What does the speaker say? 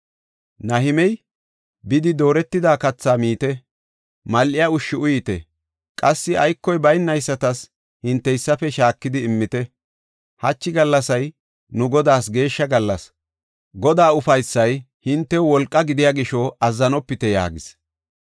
Nahimey, “Bidi dooretida kathaa miite; mal7iya ushshi uyite; qassi aykoy baynaysatas hinteysafe shaakidi immite. Hachi gallasay nu Godaas geeshsha gallas. Godaa ufaysay hintew wolqa gidiya gisho azzanopite” yaagis.